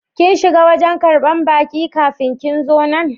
Kin shiga wajen karban baki kafi kin zo nan?